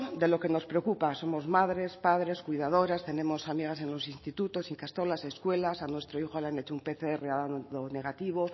de lo que nos preocupa somos madres padres cuidadoras tenemos amigas en los institutos ikastolas escuelas a nuestro hijo le han hecho un pcr ha dado negativo